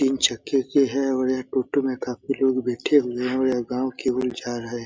तीन चक्के के हैं और यह टोटो में काफी लोग बैठे हुए हैं और यह गाँव के ओर जा रहा हैं |